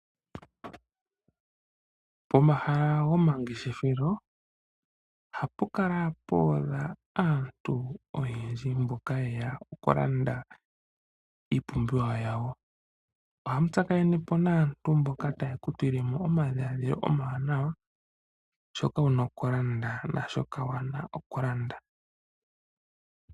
Pomahala gomangeshefelo, ohapu kala puudha aantu oyendji mboka ye ya okulanda iipumbiwa yawo, ohaya tsakanene po naantu mboka taye ya tulile mo omadhiladhilo omawanawa, shoka ye na okulanda naashoka yaana okulanda.